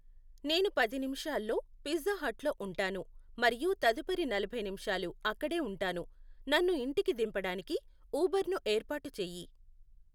నేను పది నిమిషాల్లో పిజ్జా హట్లో ఉంటాను మరియు తదుపరి నలభై నిమిషాలు అక్కడే ఉంటాను, నన్ను ఇంటికి దింపడానికి ఉబర్ను ఏర్పాటు చేయి